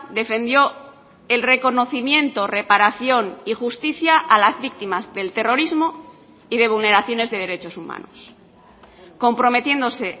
defendió el reconocimiento reparación y justicia a las víctimas del terrorismo y de vulneraciones de derechos humanos comprometiéndose